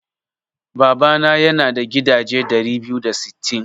Babana yana da gidaje ɗari biyu da sittin.